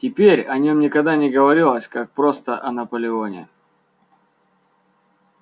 теперь о нём никогда не говорилось как просто о наполеоне